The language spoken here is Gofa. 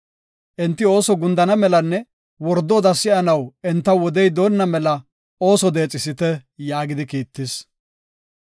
Enti ooson gundana melanne wordo oda si7onnaw entaw wodey doonna mela ooso deexisite” yaagidi kiittis.